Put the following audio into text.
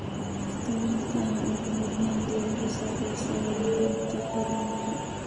Daawaynta ayaa ugu horrayn diiradda saaraysa horumarinta korriinka.